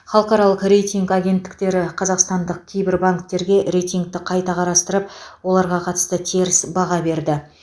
халықаралық рейтинг агенттіктері қазақстандық кейбір банктерге рейтингті қайта қарастырып оларға қатысты теріс баға берді